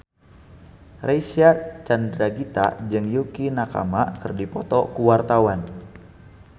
Reysa Chandragitta jeung Yukie Nakama keur dipoto ku wartawan